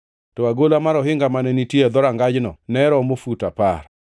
Eka nopimo agola mochomo kama idonjogo,